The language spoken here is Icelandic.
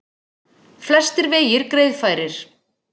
Flestir vegir greiðfærir